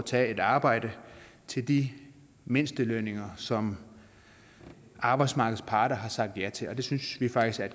tager et arbejde til de mindstelønninger som arbejdsmarkedets parter har sagt ja til og det synes vi faktisk er